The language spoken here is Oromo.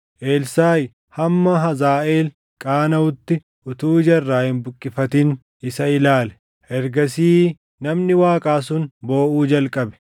Elsaaʼi hamma Hazaaʼeel qaanaʼutti utuu ija irraa hin buqqifatin isa ilaale. Ergasii namni Waaqaa sun booʼuu jalqabe.